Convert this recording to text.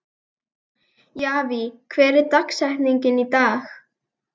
Javí, hver er dagsetningin í dag?